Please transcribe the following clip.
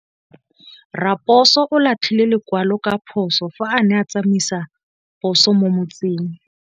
Raposo o latlhie lekwalô ka phosô fa a ne a tsamaisa poso mo motseng.